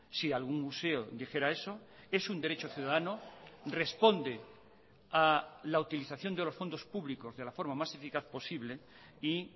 si algún museo dijera eso es un derecho ciudadano responde a la utilización de los fondos públicos de la forma más eficaz posible y